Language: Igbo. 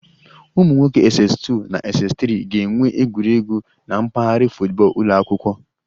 Ụmụ nwoke Ss2 na Ss3 ga-enwe egwuregwu na mpaghara football ụlọ akwụkwọ